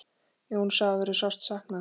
Jóns afa verður sárt saknað.